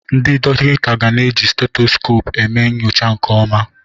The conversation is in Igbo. Ndị dọkịta ga na-eji steteskopu eme nyocha nke ọma.